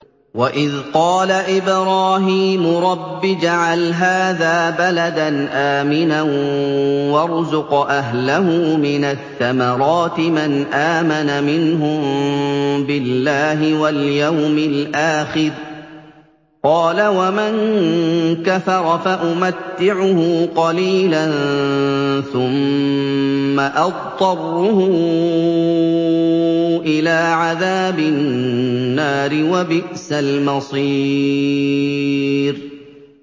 وَإِذْ قَالَ إِبْرَاهِيمُ رَبِّ اجْعَلْ هَٰذَا بَلَدًا آمِنًا وَارْزُقْ أَهْلَهُ مِنَ الثَّمَرَاتِ مَنْ آمَنَ مِنْهُم بِاللَّهِ وَالْيَوْمِ الْآخِرِ ۖ قَالَ وَمَن كَفَرَ فَأُمَتِّعُهُ قَلِيلًا ثُمَّ أَضْطَرُّهُ إِلَىٰ عَذَابِ النَّارِ ۖ وَبِئْسَ الْمَصِيرُ